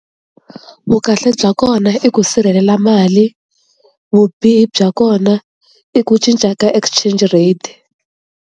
Vu kahle bya kona i ku sirhelela mali vubihi bya kona i ku cinca ka exchange rate.